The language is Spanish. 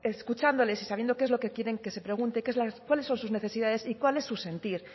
escuchándoles y sabiendo qué es lo que quieren que se pregunte cuáles son sus necesidades y cuál es su sentir